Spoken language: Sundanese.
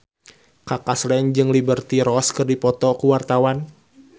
Kaka Slank jeung Liberty Ross keur dipoto ku wartawan